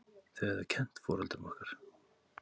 Þau höfðu kennt foreldrum okkar.